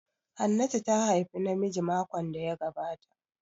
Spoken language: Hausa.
Hannatu ta haifi namiji makon da ya gabata